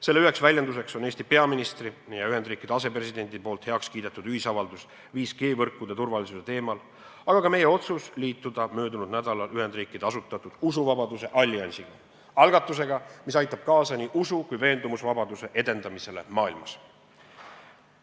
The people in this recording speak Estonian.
Selle üks väljendus on Eesti peaministri ja Ühendriikide asepresidendi heaks kiidetud ühisavaldus 5G võrkude turvalisuse teemal, aga ka meie otsus liituda möödunud nädalal Ühendriikide asutatud usuvabaduse alliansiga – algatusega, mis aitab kaasa nii usu- kui ka veendumusvabaduse edendamisele maailmas.